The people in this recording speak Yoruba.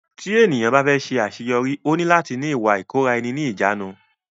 Tí ènìyàn bá fẹ́ ṣe àṣeyọrí ó ní láti ní Ìwà ìkóra ẹni níjàánu.